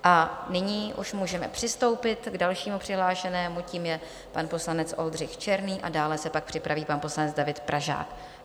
A nyní už můžeme přistoupit k dalšímu přihlášenému, tím je pan poslanec Oldřich Černý, a dále se pak připraví pan poslanec David Pražák.